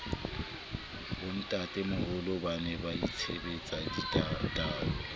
bontatemoholo ba ne baitshepetse ditaola